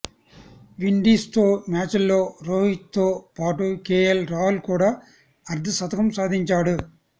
విండీస్తో మ్యాచ్లో రోహిత్తో పాటు కేఎల్ రాహుల్ కూడా అర్థ శతకం సాధించాడు